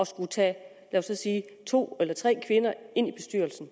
skulle tage to eller tre kvinder ind i bestyrelsen